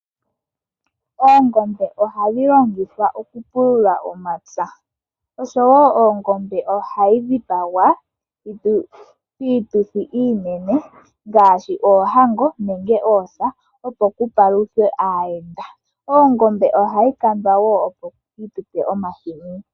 Oongombe ohadhi longithwa oku pulula omapya. Oshowo oongombe ohayi dhipagwa piituthi iinene ngaashi oohango nenge oosa, opo paluthwe aahenda. Oongombe ohadhi kandwa wo opo dhi tupe omahini.